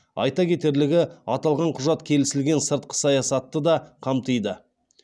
айта кетерлігі аталған құжат келісілген сыртқы саясатты да қамтиды